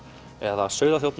eða